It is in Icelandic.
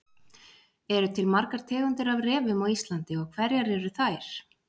eru til margar tegundir af refum á íslandi og hverjar eru þær